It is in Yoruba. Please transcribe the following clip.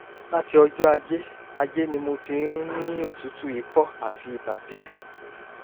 láti ọjọ́ ajé ajé ni mo ti ń ní òtútù ikọ́ àti ibà díẹ̀